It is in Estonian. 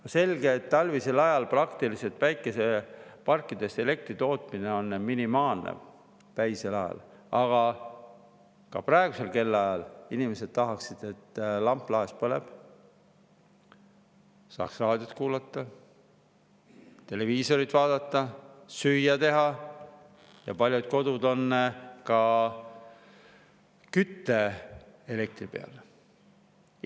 On selge, et talvisel ajal praktiliselt päikeseparkides elektri tootmine on minimaalne, ka päisel ajal, aga ka praegusel kellaajal inimesed tahaksid, et lamp laes põleks, saaks raadiot kuulata, televiisorit vaadata, süüa teha, ja paljud kodud on ka elektrikütte peal.